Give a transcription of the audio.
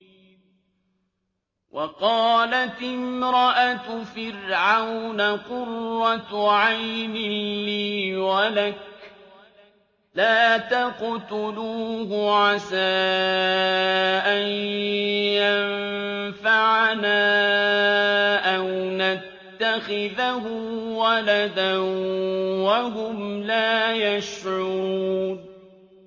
وَقَالَتِ امْرَأَتُ فِرْعَوْنَ قُرَّتُ عَيْنٍ لِّي وَلَكَ ۖ لَا تَقْتُلُوهُ عَسَىٰ أَن يَنفَعَنَا أَوْ نَتَّخِذَهُ وَلَدًا وَهُمْ لَا يَشْعُرُونَ